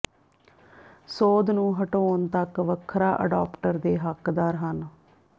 ਸੋਧ ਨੂੰ ਹਟਾਉਣ ਤੱਕ ਵੱਖਰਾ ਅਡਾਪਟਰ ਦੇ ਹੱਕਦਾਰ ਹਨ